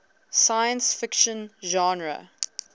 science fiction genre